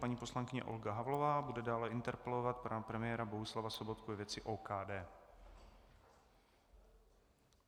Paní poslankyně Olga Havlová bude dále interpelovat pana premiéra Bohuslava Sobotku ve věci OKD.